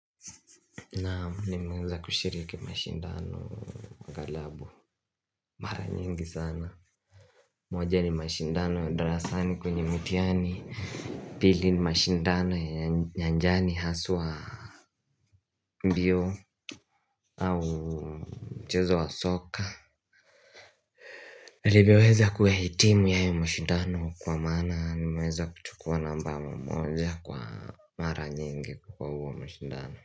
Na nimeweza kushiriki mashindano wa galabu mara nyingi sana moja ni mashindano darasani kwenye mtiani pili ni mashindano ya njani haswa mbio au mchezo wa soka Nirivyoweza kuyahitimu yae mashindano kwa maana nimeweza kuchukua namba moja kwa Mara nyingi kwa huo mshindano.